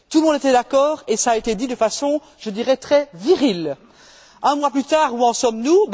Tout le monde était d'accord et cela a été dit de façon, je dirais, très virile. Un mois plus tard, où en sommes nous?